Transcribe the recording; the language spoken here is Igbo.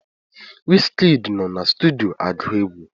Wizikid nọ na sutudio agụ egwu